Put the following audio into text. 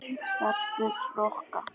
Stelpur rokka!